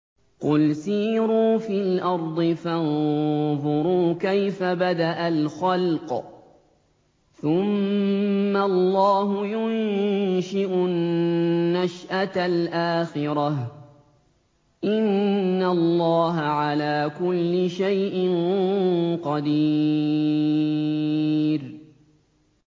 قُلْ سِيرُوا فِي الْأَرْضِ فَانظُرُوا كَيْفَ بَدَأَ الْخَلْقَ ۚ ثُمَّ اللَّهُ يُنشِئُ النَّشْأَةَ الْآخِرَةَ ۚ إِنَّ اللَّهَ عَلَىٰ كُلِّ شَيْءٍ قَدِيرٌ